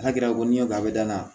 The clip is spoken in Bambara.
N'a kɛra ko ni y'o a bɛ dayana